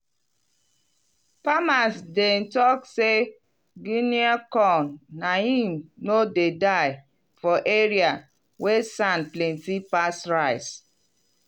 farmers dem talk say guinea corn na him no dey die for area wey sand plenty pass rice.